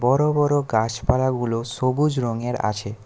বড়ো বড়ো গাছপালাগুলো সবুজ রঙের আছে।